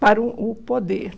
para o o poder.